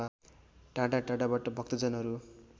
टाढा टाढाबाट भक्‍तजनहरू